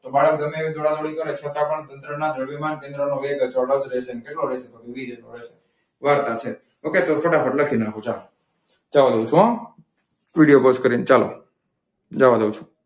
તો બાળક ગમે એટલી દોડાદોડી કરે છતાં પણ તંત્રના દ્રવ્યમાન કેન્દ્રનો રેટ અચળ જ રહેશે. વાર્તા છે. તો ફટાફટ લખી નાખો ચાલો. વિડીયો પોઝ કરીને ચાલો. જવા દઉં છું.